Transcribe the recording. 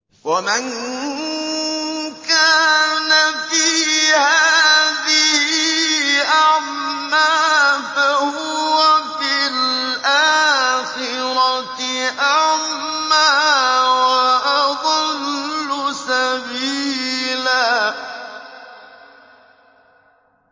وَمَن كَانَ فِي هَٰذِهِ أَعْمَىٰ فَهُوَ فِي الْآخِرَةِ أَعْمَىٰ وَأَضَلُّ سَبِيلًا